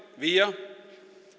vígja